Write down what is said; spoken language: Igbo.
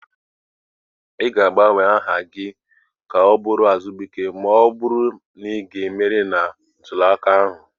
Ị ga-agbanwe aha gị ka ọ bụrụ Abubakar ma ọ bụrụ na ị ga-emeri na ntule aka ahụ.